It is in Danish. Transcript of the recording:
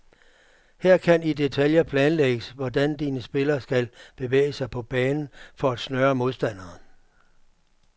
Her kan i deltaljer planlægges, hvordan dine spillere skal bevæge sig på banen for at snøre modstanderen.